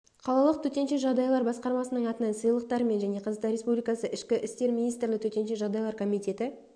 қалалық төтенше жағдайлар басқармасының атынан сыйлықтармен және қазақстан республикасы ішкі істер министрлігі төтенше жағдайлар комитеті